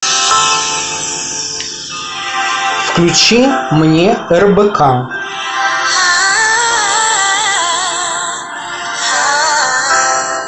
включи мне рбк